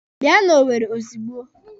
Bịa n'Owere ozugbo!